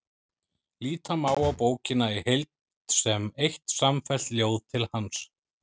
Líta má á bókina í heild sem eitt samfellt ljóð til hans.